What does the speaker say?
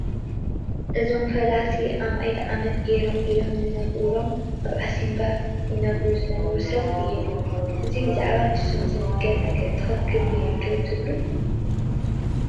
እዞም ፈላሲ ኣማኢት ዓመታት ገይሮም ኢሎም ዝነግርሎም ኣብ ዓሲምባ ይነብሩ ዝነበሩ ሰብ እዮም፡፡ እዚ ብዛዕባ ንሶም ዝንገር ነገር ትኽኽል እዩ ዶ ትብልዎ?